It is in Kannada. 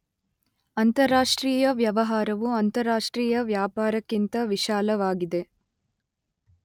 ಅಂತರಾಷ್ಟ್ರೀಯ ವ್ಯವಹಾರವು ಅಂತರಾಷ್ಟ್ರೀಯ ವ್ಯಾಪಾರಕ್ಕಿಂತ ವಿಶಾಲವಾಗಿದೆ.